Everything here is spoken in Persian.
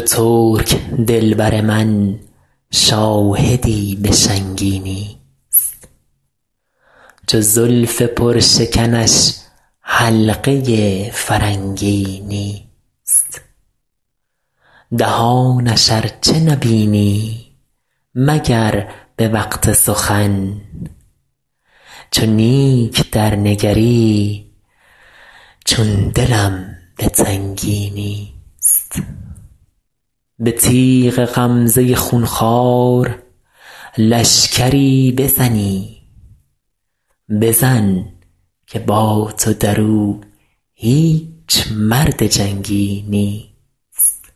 چو ترک دل بر من شاهدی به شنگی نیست چو زلف پرشکنش حلقه فرنگی نیست دهانش ار چه نبینی مگر به وقت سخن چو نیک درنگری چون دلم به تنگی نیست به تیغ غمزه خون خوار لشکری بزنی بزن که با تو در او هیچ مرد جنگی نیست